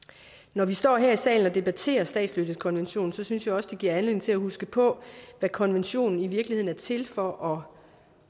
når vi står her i salen og debatterer statsløsekonventionen synes jeg også det giver anledning til at huske på hvad konventionen i virkeligheden er til for og